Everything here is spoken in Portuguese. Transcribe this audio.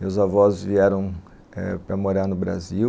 Meus avós vieram eh para morar no Brasil.